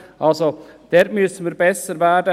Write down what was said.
Dort müssen wir besser werden.